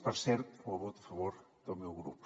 per cert amb el vot a favor del meu grup